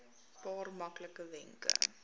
paar maklike wenke